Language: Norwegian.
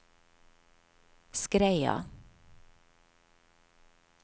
Skreia